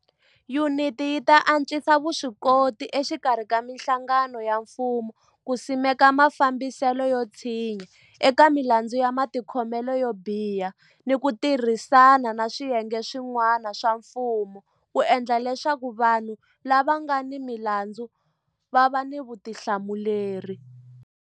Yuniti yi ta antswisa vuswikoti exikarhi ka mihlangano ya mfumo ku simeka mafambiselo yo tshinya eka milandzu ya matikhomelo yo biha ni ku tirhisana ni swiyenge swi n'wana swa mfumo ku endla leswaku vanhu lava nga ni milandzu va va ni vutihlamuleri.